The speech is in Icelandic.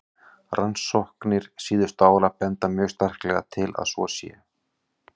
Rannsóknir síðustu ára benda mjög sterklega til að svo sé.